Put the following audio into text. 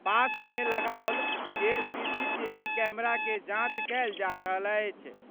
पास मे लगाओल गेल सीसीटीवी कैमरा के जाँच कएल जा रहल अछि।